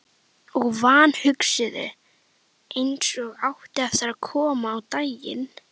Og vanhugsuðu, eins og átti eftir að koma á daginn.